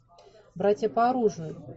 братья по оружию